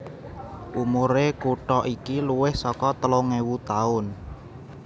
Umur e kutho iki luwih saka telung ewu tahun